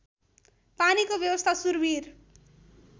पानीको व्यवस्था सुरविर